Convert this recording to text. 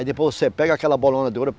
Aí depois você pega aquela bolona de ouro.